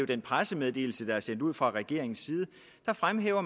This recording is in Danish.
den pressemeddelelse der er sendt ud fra regeringens side fremhæver